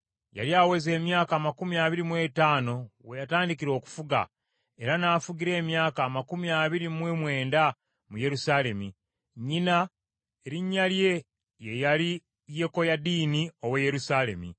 Yali aweza emyaka amakumi abiri mu etaano weyatandikira okufuga, era n’afugira emyaka amakumi abiri mu mwenda mu Yerusaalemi. Nnyina erinnya lye ye yali Yekoyadiini ow’e Yerusaalemi.